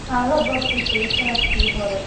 Waxaan la baabtiisay sannadkii hore